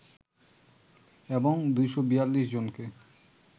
এবং ২৪২ জনকে